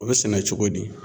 O bɛ sɛnɛ cogo di?